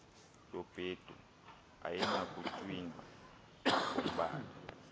yobhedu ayinakutywinwa ngombala